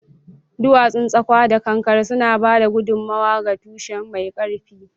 Duwatsun tsakwa da kankare suna ba da gudummawa ga tushe mai ƙarfi.